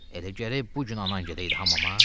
Elə gərək bu gün anan gedəydi hamama?